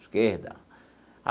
Esquerda.